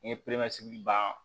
N ye pereseli ban